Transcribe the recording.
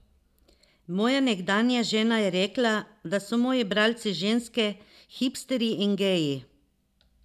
Moja nekdanja žena je rekla, da so moji bralci ženske, hipsterji in geji.